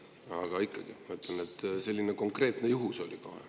Aga ikkagi ma ütlen, et selline konkreetne juhtum oli.